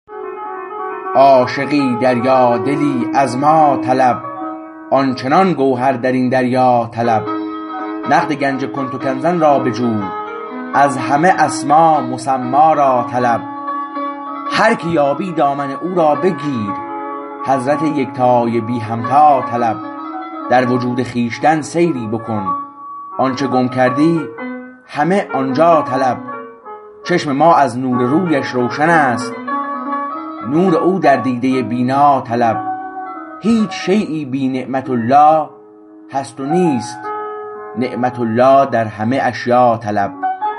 عاشقی دریادلی از ما طلب آن چنان گوهر در این دریا طلب نقد گنج کنت کنزا را بجو از همه اسما مسمی را طلب هر که یابی دامن او را بگیر حضرت یکتای بی همتا طلب در وجود خویشتن سیری بکن آنچه گم کردی همه آن جا طلب چشم ما از نور رویش روشنست نور او در دیده بینا طلب هیچ شییی بی نعمت الله هست نیست نعمت الله در همه اشیا طلب